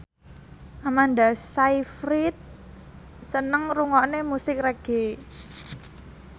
Amanda Sayfried seneng ngrungokne musik reggae